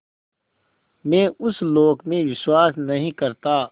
मैं उस लोक में विश्वास नहीं करता